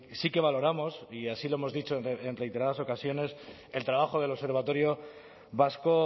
sí que valoramos y así lo hemos dicho en reiteradas ocasiones el trabajo del observatorio vasco